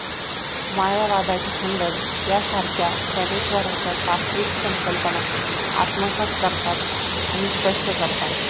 मायावादाचे खंडन यासारखे ज्ञानेश्वरांच्या तात्विक संकल्पना आत्मसात करतात आणि स्पष्ट करतात